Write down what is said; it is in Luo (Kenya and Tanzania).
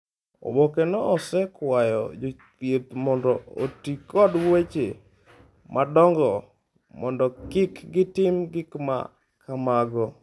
Oboke no osekwayo jothieth mondo oti kod weche madongo mondo kik gitim gik ma kamago.